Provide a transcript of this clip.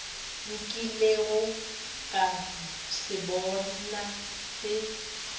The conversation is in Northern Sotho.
nkilego ka se bona se